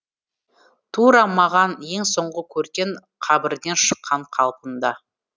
тура маған ең соңғы көрген қабірден шыққан қалпында